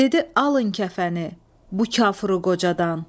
Dedi alın kəfəni bu kafru qocadan.